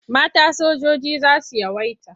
Mata sojoji za su yawaita.